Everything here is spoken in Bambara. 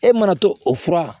E mana to o fura